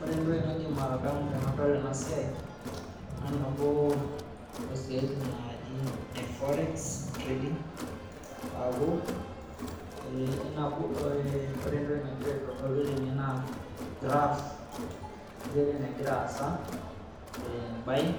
Ore entoki naidim atadamu tenadol ena siaai naa nabo oosiaaitin naaji te forex trading aaku ore entoki nagira aitodolu tene naa olgraaf injere nagira aasa tee buying